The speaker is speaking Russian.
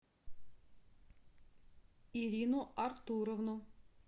ирину артуровну